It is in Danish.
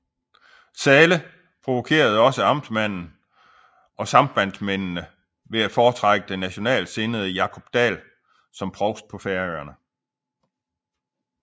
Zahle provokerede også amtmanden og sambandsmændene ved at foretrække den nationalt sinnede Jákup Dahl som provst på Færøerne